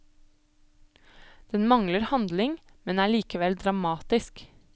Den mangler handling, men er likevel dramatisk.